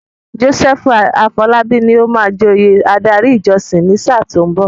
Joseph Afolabi ni ó máa joyè adarí ìjọsìn ní sáà tí ó ń bọ̀.